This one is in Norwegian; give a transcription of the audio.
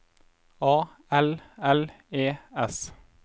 A L L E S